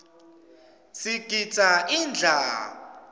sigidza ingadla